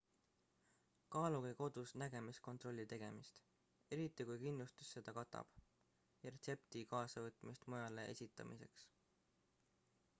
kaaluge kodus nägemiskontrolli tegemist eriti kui kindlustus seda katab ja retsepti kaasavõtmist mujale esitamiseks